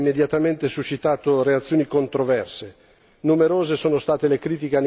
Dalla sua pubblicazione questa proposta ha immediatamente suscitato reazioni controverse.